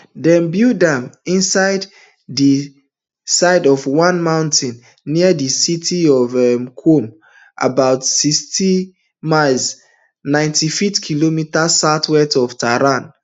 dem build am inside di side of one mountain near di city of um qom about sixty um miles ninety-five kilometres southwest of tehran